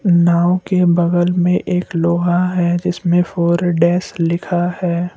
नाव के बगल में एक लोहा है जिसमें फोर ए डैश लिखा है।